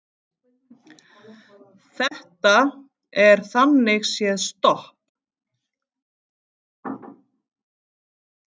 Blái og hvíti bakgrunnurinn er jörðin.